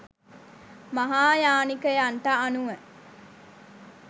මහායානිකයන්ට අනුව